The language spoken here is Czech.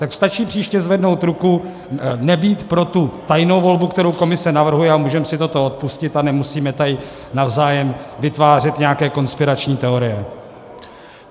Tak stačí příště zvednout ruku, nebýt pro tu tajnou volbu, kterou komise navrhuje, a můžeme si toto odpustit a nemusíme tady navzájem vytvářet nějaké konspirační teorie.